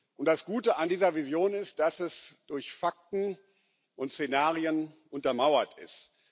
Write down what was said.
Und das Gute an dieser Vision ist, dass sie durch Fakten und Szenarien untermauert ist.